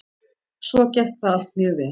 Svo gekk það allt mjög vel.